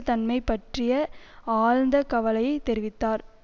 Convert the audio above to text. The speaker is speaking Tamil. தன்மை பற்றிய ஆழ்ந்த கவலையை தெரிவித்தார்